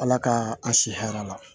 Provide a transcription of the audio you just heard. Ala ka a si hɛrɛ la